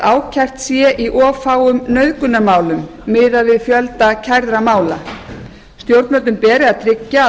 ákært sé í of fáum nauðgunarmálum miðað við fjölda kærðra mála og stjórnvöldum beri að tryggja að